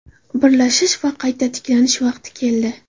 Birlashish va qayta tiklanish vaqti keldi”.